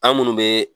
An minnu bɛ